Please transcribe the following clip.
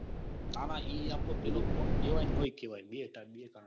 ના ના ઈ કેવાય કે નો એ કેવાય. બે કારણ